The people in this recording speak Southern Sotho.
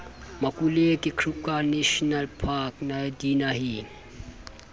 makuleke kruger national park dinaheng